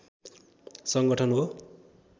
सङ्गठन हो